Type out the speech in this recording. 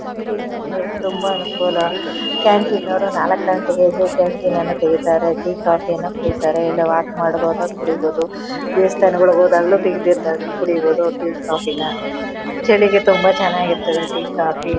Canteen ಇರೋದು ತುಂಬಾ ಅನುಕೂಲ. ಕ್ಯಾಂಟೀನ್ ಅವರು ನಾಲಕ್ಕು ಗಂಟೆಗೆ ಎದ್ದು ಕ್ಯಾಂಟೀನ್ ನ್ನ ತೆಗಿತಾರೆ ಟಿ ಕಾಫಿ ಯನ್ನ ಕುಡಿತಾರೆ ಇಲ್ಲ ವಾಕ್ ಮಾಡುವಾಗ ಕುಡೀಬೋದು ದೇವಸ್ಥಾನಗಳಿಗೆ ಹೋದಾಗಲೂ ಸಿಗದಿದ್ದಾಗ ಕುಡೀಬೋದು ಟಿ ಕಾಪಿನ ಚಳಿಗೆ ಚೆನ್ನಾಗಿರ್ತದೆ ಟಿ ಕಾಫಿ .